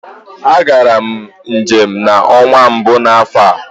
A gara m njem n'ọnwa mbụ n'afọ a.